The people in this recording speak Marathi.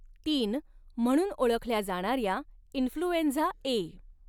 तीन म्हणून ओळखल्या जाणार्या इन्फ्लूएंझा ए.